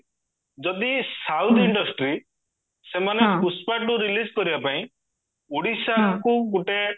ଯଦି south industry ସେମାନେ Pushpa two release କରିବା ପାଇଁ ଓଡିଶାଙ୍କୁ ଗୋଟେ